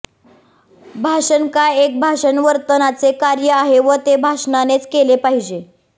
भाषण काय एक भाषण वर्तनाचे कार्य आहे व ते भाषणानेच केले पाहिजे